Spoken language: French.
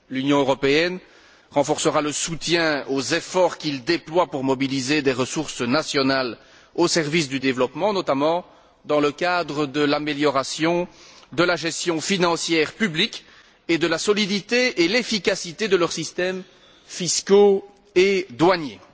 L'Union européenne renforcera le soutien aux efforts qu'ils déploient pour mobiliser des ressources nationales au service du développement, notamment dans le cadre de l'amélioration de la gestion financière publique et de la solidité et de l'efficacité de leurs systèmes fiscaux et douaniers.